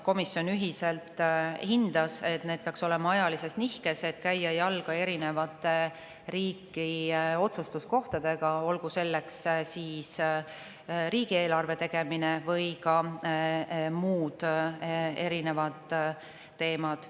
Komisjon ühiselt hindas, et need peaksid olema ajalises nihkes, et käia jalga riigi eri otsustuskohtadega, olgu selleks riigieelarve tegemine või muud teemad.